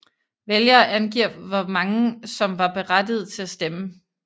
Vælgere angiver hvor mange som var berettigede til at stemme